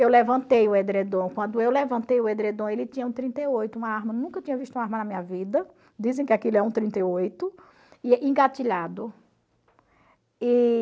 Eu levantei o edredom, quando eu levantei o edredom ele tinha um trinta e oito, uma arma, nunca tinha visto uma arma na minha vida, dizem que aquilo é um trinta e oito, e engatilhado. E...